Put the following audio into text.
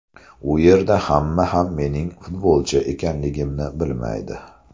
U yerda hamma ham mening futbolchi ekanligimni bilmaydi.